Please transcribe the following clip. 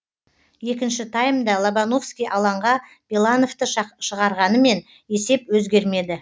екінші таймда лобановский алаңға белановты шығарғанымен есеп өзгермеді